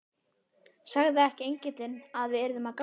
Sagði ekki engillinn að við yrðum að ganga?